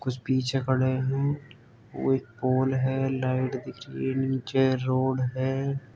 कुछ पीछे खड़े हैं। वो एक पोल है। लाइट दिख रही है नीचे रोड है।